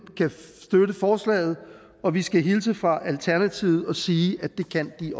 kan støtte forslaget og vi skal hilse fra alternativet og sige at det kan de